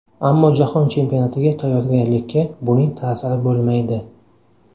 Ammo jahon chempionatiga tayyorgarlikka buning ta’siri bo‘lmaydi.